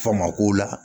Faama ko la